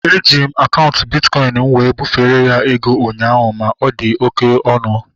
Eji m akaụntụ bitkọin m wee bufere ya ego ụnyaahụ ma ọ dị oké ọnụ